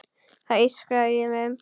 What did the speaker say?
Það ískrar í þeim.